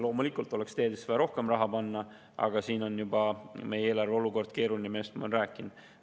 Loomulikult oleks teedesse vaja rohkem raha, aga meie eelarve olukord on keeruline, millest ma olen juba rääkinud.